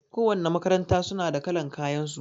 Ko wanna makaranta suna da kalan kayan su